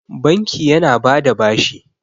banki yana ba da bashi